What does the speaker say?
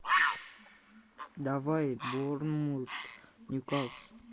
давай борнмут ньюкасл